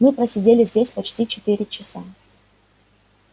мы просидели здесь почти четыре часа